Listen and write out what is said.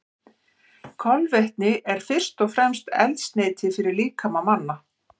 Kolvetni eru fyrst og fremst eldsneyti fyrir líkama manna.